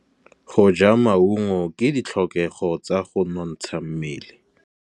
Go ja maungo ke ditlhokegô tsa go nontsha mmele.